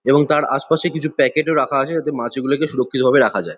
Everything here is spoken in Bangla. এবং তার আশপাশে কিছু প্যাকেট -ও রাখা আছে। যাতে মাছগুলোকে সুরক্ষিতভাবে রাখা যায়।